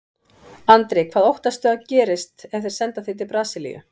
Andri: Hvað óttastu að gerist ef þeir senda þig til Brasilíu?